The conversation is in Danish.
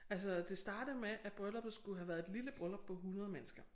Altså det starter med at brylluppet skulle have været et lille bryllup på 100 mennesker